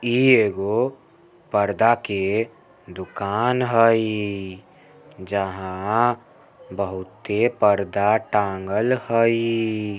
इ एगो पर्दा के दुकान हई जहाँ बहुते पर्दा टाँगल हई--